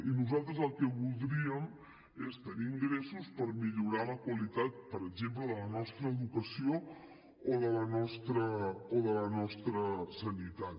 i nosaltres el que voldríem és tenir ingressos per millorar la qualitat per exemple de la nostra educació o de la nostra sanitat